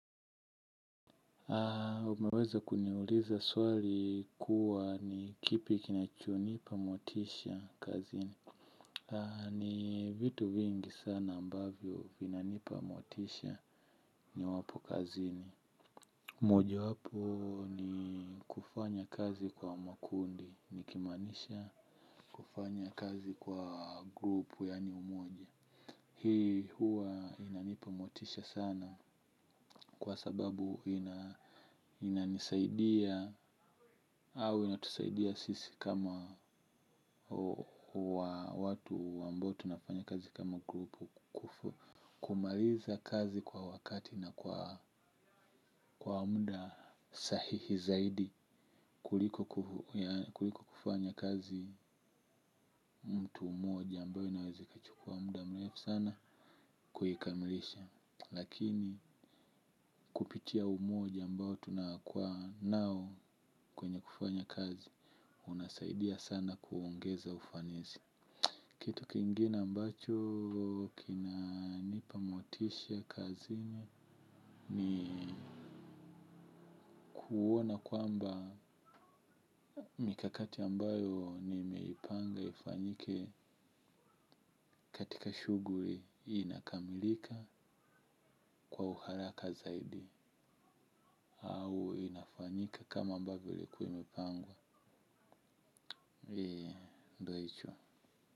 Haa, umeweza kuniuliza swali kuwa ni kipi kinachunipa motisha kazini. Haa, ni vitu vingi sana ambavyo vinanipa motisha ni wapo kazini. Moja wapo ni kufanya kazi kwa makundi, nikimanisha kufanya kazi kwa grupu yani umoja. Hii huwa inanipa motisha sana kwa sababu ina inanisaidia au inatusaidia sisi kama watu ambao tunafanya kazi kama grupu kumaliza kazi kwa wakati na kwa muda sahihi zaidi. Kuliko kufanya kazi mtu mmoja ambayo inawezi kachukua muda mrefu sana kuikamilisha. Lakini kupitia umoja ambao tunakua nao kwenye kufanya kazi. Unasaidia sana kuongeza ufanisi. Tukingina mbacho kinanipamotisha kazi ni ni kuona kwamba mikakati ambayo ni meipanga ifanyike katika shughuli inakamilika kwa uharaka zaidi. Au inafanyika kama ambavyo ilikuwa imepangwa.